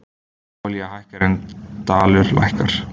Olía hækkar en dalur lækkar